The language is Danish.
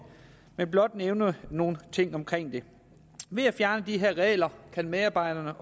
men blot nævne nogle ting omkring det ved at fjerne de her regler kan medarbejderne